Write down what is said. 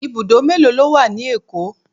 Ibùdó mélòó ló wà ní Èkó?